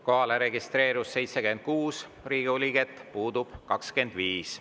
Kohalolijaks registreerus 76 Riigikogu liiget, puudub 25.